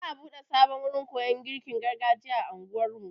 Za'a buɗe sabon gurin koyon girkin gargajiya a anguwar mu.